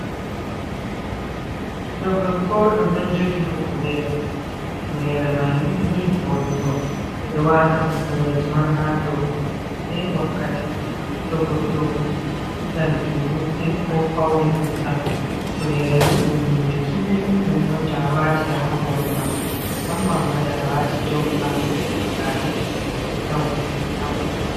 Ɓiɗdo gorko oɗon jogi hufnere, hufnere mai ni ni voɗugo, ɓe ɗo wata kufuneje on ha dou ko’e himɓɓe wakkati to goɗɗo dillan julurde, ko fauni vurttan, hufunere ni ɗum hunde kimmini ɗum on to awati ha hore ma musamman ma to a wati jompa, sala, gare, a hufna hufunere ha hore ma.